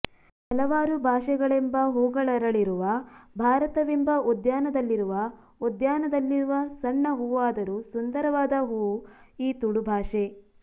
ಹಲವಾರು ಭಾಷೆಗಳೆಂಬ ಹೂಗಳರಳಿರುವ ಭಾರತವೆಂಬ ಉದ್ಯಾನದಲ್ಲಿರುವ ಉದ್ಯಾನದಲ್ಲಿರುವ ಸಣ್ಣ ಹೂವಾದರೂ ಸುಂದರವಾದ ಹೂವು ಈ ತುಳುಭಾಷೆ